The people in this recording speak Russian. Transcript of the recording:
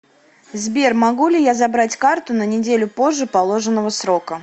сбер могу ли я забрать карту на неделю позже положенного срока